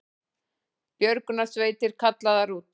Björgunarsveitir kallaðar út